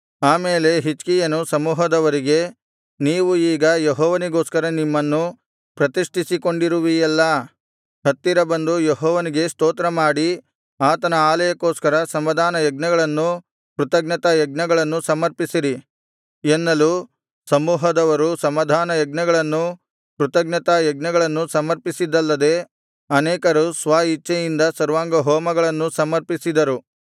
ಆಮೇಲೆ ಹಿಜ್ಕೀಯನು ಸಮೂಹದವರಿಗೆ ನೀವು ಈಗ ಯೆಹೋವನಿಗೋಸ್ಕರ ನಿಮ್ಮನ್ನು ಪ್ರತಿಷ್ಠಿಸಿಕೊಂಡಿರುವಿಯಲ್ಲಾ ಹತ್ತಿರ ಬಂದು ಯೆಹೋವನಿಗೆ ಸ್ತೋತ್ರಮಾಡಿ ಆತನ ಆಲಯಕ್ಕೋಸ್ಕರ ಸಮಾಧಾನ ಯಜ್ಞಗಳನ್ನೂ ಕೃತಜ್ಞತಾಯಜ್ಞಗಳನ್ನೂ ಸಮರ್ಪಿಸಿರಿ ಎನ್ನಲು ಸಮೂಹದವರು ಸಮಾಧಾನಯಜ್ಞಗಳನ್ನೂ ಕೃತಜ್ಞತಾಯಜ್ಞಗಳನ್ನೂ ಸಮರ್ಪಿಸಿದ್ದಲ್ಲದೆ ಅನೇಕರು ಸ್ವ ಇಚ್ಛೆಯಿಂದ ಸರ್ವಾಂಗಹೋಮಗಳನ್ನೂ ಸಮರ್ಪಿಸಿದರು